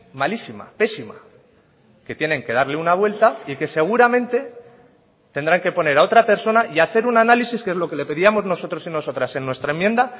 malísima pésima que tienen que darle una vuelta y que seguramente tendrán que poner a otra persona y hacer un análisis que es lo que le pedíamos nosotros y nosotras en nuestra enmienda